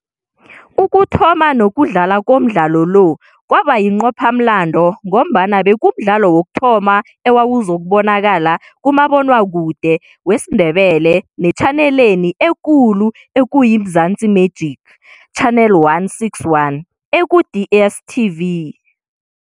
Ukuthoma nokudlala komdlalo lo kwaba yinqophamlando ngombana bekumdlalo wokuthoma owawuzokubonakala kumabonwakude wesiNdebele netjhaneleni ekulu okuyi-Mzansi Magic, Channel 161, eku-DSTV.